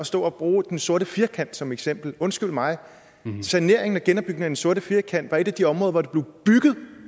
stå og bruge den sorte firkant som eksempel undskyld mig men med saneringen og den sorte firkant var det et af de områder hvor der blev bygget